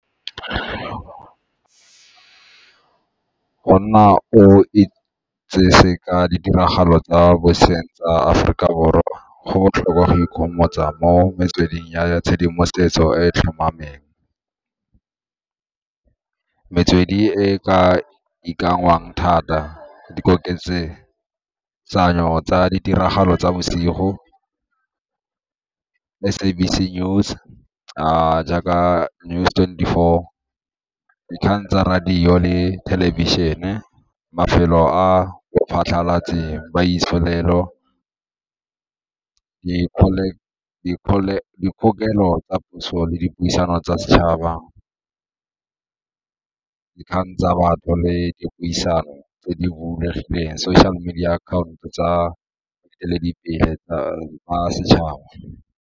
Go nna o itsesi ka ditiragalo tsa boseng tsa Aforika Borwa go botlhokwa go ikgomotsa mo metsweding ya tshedimosetso e e tlhomameng. Metswedi e ka ikanngwang thata, di tsa ditiragalo tsa bosigo, SABC News, jaaka News twenty-four, dikgang tsa radio le thelebišene, mafelo a tsa puso le puisano tsa setšhaba, dikgang tsa batho le dipuisano tse di bulegileng, social media akhaonto tsa boeteledipele jwa setšhaba.